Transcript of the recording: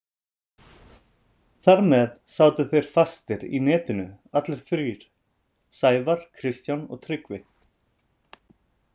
Þar með sátu þeir fastir í netinu allir þrír, Sævar, Kristján og Tryggvi.